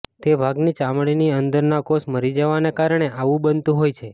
તે ભાગની ચામડીની અંદરના કોષ મરી જવાને કારણે આવું બનતું હોય છે